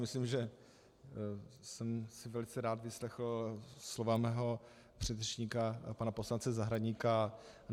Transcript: Myslím, že jsem si velice rád vyslechl slova svého předřečníka pana poslance Zahradníka.